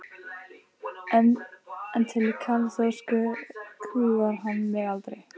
En til kaþólsku kúgar hann mig aldrei!